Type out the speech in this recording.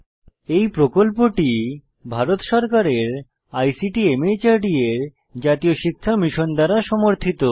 এই প্রকল্পটি ভারত সরকারের আইসিটি মাহর্দ এর জাতীয় শিক্ষা মিশন দ্বারা সমর্থিত